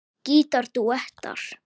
Gítar dúettar